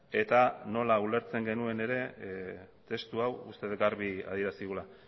eta nola ulertzen genuen ere testu hau uste dut garbi adierazi dugula